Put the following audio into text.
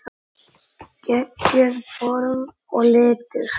Geggjuð form og litir.